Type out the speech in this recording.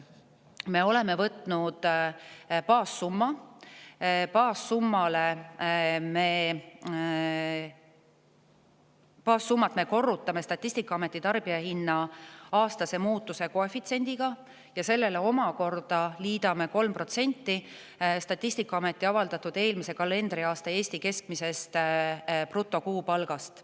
Me oleme võtnud Statistikaameti avaldatud andmete põhjal baassumma, mille me korrutame tarbijahinna aastase muutuse koefitsiendiga ja sellele omakorda liidame 3% eelmise kalendriaasta Eesti keskmisest brutokuupalgast.